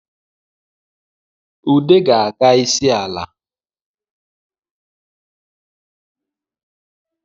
Ude ga-aga isi ala